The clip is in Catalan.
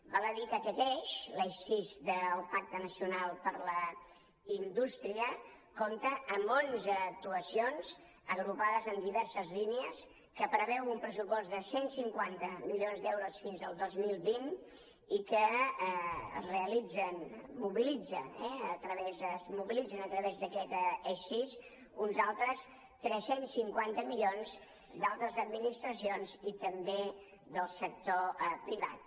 val a dir que aquest eix l’eix sis del pacte nacional per a la indústria compta amb onze actuacions agrupades en diverses línies que preveu un pressupost de cent i cinquanta milions d’euros fins al dos mil vint i que es mobilitzen a través d’aquest eix sis uns altres tres cents i cinquanta milions d’altres administracions i també del sector privat